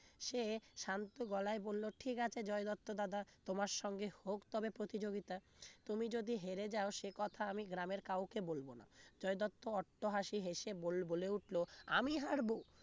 সে শান্ত গলায় বলল ঠিক আছে জয় দত্ত দাদা তোমার সঙ্গে হোক তবে প্রতিযোগিতা তুমি যদি হেরে যাও সে কথা আমি গ্রামের কাউকে বলবো না জয় দত্ত অট্টহাসি হেসে বল~বলে উঠলো আমি হারবো